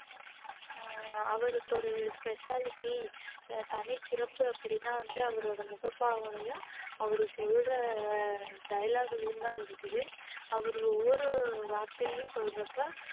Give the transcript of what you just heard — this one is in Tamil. உம் அவருக்கு ஒரு specialty தனிச் சிறப்பு அப்படின்னா வந்து அவரோட முகப்பாவனையும் அவரு சொல்ற dialogue லயும்தான் இருக்குது அவர் ஒவ்வொரு வார்த்தையும் சொல்றப்ப